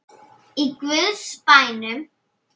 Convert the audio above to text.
Í guðs bænum.